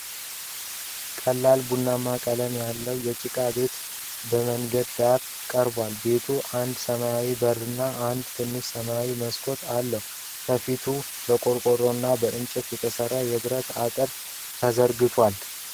ቀላል ቡናማ ቀለም ያለው የጭቃ ቤት በመንደር ውስጥ ቀርቧል፡፡ ቤቱ አንድ ሰማያዊ በርና አንድ ትንሽ ሰማያዊ መስኮት አለው፡፡ ከፊቱ በቆርቆሮ እና በእንጨት የተሰራ የብረት አጥር ተዘርግቷል፡፡